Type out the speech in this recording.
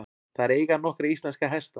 Þær eiga nokkra íslenska hesta.